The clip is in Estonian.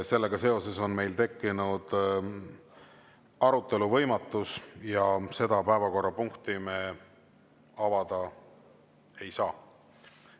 Sellega seoses on meil tekkinud arutelu võimatus ja seda päevakorrapunkti me avada ei saa.